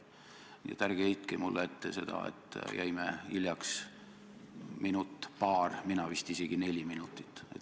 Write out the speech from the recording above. Nii et ärge heitke ette seda, et jäime hiljaks minut-paar, mina vist isegi neli minutit.